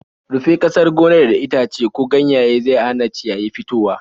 Rufe ƙasan gonar da itace ko ganyaye zau hana ciyayi fitowa.